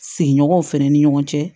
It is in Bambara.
Sigiɲɔgɔn fɛnɛ ni ɲɔgɔn cɛ